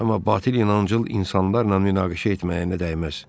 Amma batil inancıl insanlarla münaqişə etməyinə dəyməz.